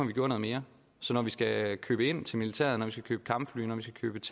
vi gjorde noget mere så når vi skal købe ind til militæret når vi skal købe kampfly når vi